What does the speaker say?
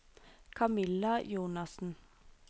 Camilla Jonassen